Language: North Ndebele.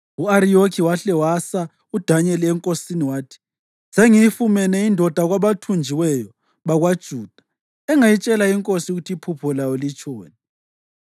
U-Ariyoki wahle wasa uDanyeli enkosini wathi, “Sengiyifumene indoda kwabathunjiweyo bakwaJuda engayitshela inkosi ukuthi iphupho layo litshoni.”